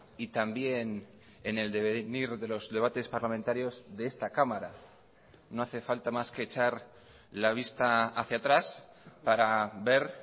y también en el devenir de los debates parlamentarios de esta cámara no hace falta más que echar la vista hacia atrás para ver